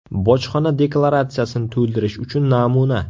Bojxona deklaratsiyasini to‘ldirish uchun namuna.